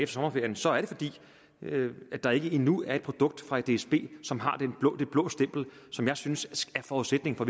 sommerferien så er det fordi der endnu ikke er et produkt fra dsb som har det blå det blå stempel som jeg synes er forudsætningen for